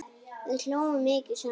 Við hlógum mikið saman.